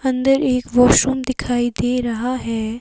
अंदर एक वॉशरूम दिखाई दे रहा है।